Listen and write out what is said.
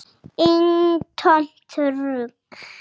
Eintómt rugl.